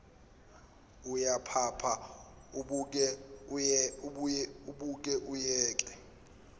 uyaphapha uboke uyeke